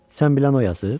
Sən bilən o yazıb?